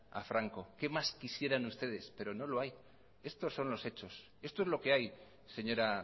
a franco qué más quisieran ustedes pero no lo hay estos son los hechos esto es lo que hay señora